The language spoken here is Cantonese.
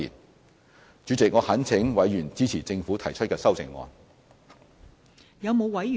代理主席，我懇請委員支持政府提出的修正案。